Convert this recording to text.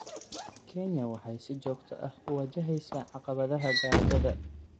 Kenya waxay si joogto ah u wajaheysaa caqabadaha gaajada.